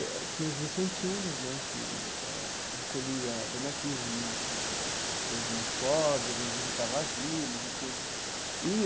E tinha os vicentinos né, que eh recolhia donativo né para os mais pobres, visitava asilo e tudo e.